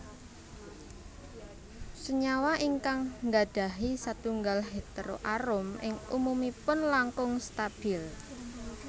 Senyawa ingkang nggadahi setunggal heteroarom ing umumipun langkung stabil